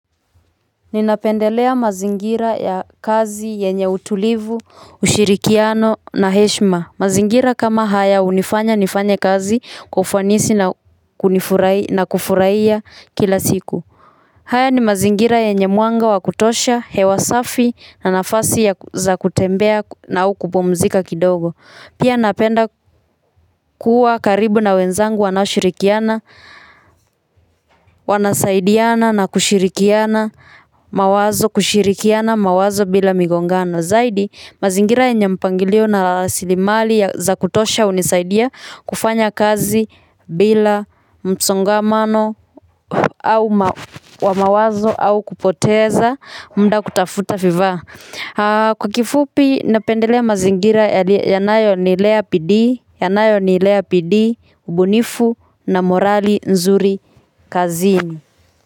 Ninapendelea mazingira ya kazi yenye utulivu, ushirikiano na heshima. Mazingira kama haya hunifanya nifanye kazi kwa ufanisi na kufurahia kila siku. Haya ni mazingira yenye mwanga wa kutosha, hewa safi na nafasi za kutembea na au kupumzika kidogo. Pia napenda kuwa karibu na wenzangu wanaoshirikiana, wanasaidiana na kushirikiana mawazo, kushirikiana mawazo bila migongano. Zaidi, mazingira yenye mpangilio na rasilimali za kutosha hunisaidia kufanya kazi bila msongamano wa mawazo au kupoteza muda kutafuta vifaa. Kwa kifupi napendelea mazingira yanayo nilea bidii ubunifu na morali nzuri kazini.